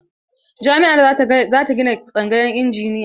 Jami'ar za ta gina tsangayar injiniya.